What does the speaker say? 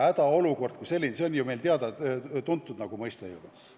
Hädaolukord on meil ju teada-tuntud mõiste juba.